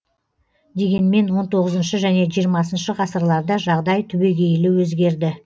дегенмен он тоғызыншы және жиырмасыншы ғасырларда жағдай түбегейлі өзгерді